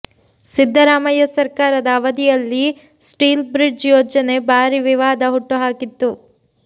ಸಿದ್ದರಾಮಯ್ಯ ಸರ್ಕಾರದ ಅವಧಿಯಲ್ಲಿ steel bridge ಯೋಜನೆ ಭಾರಿ ವಿವಾದ ಹುಟ್ಟುಹಾಕಿತ್ತು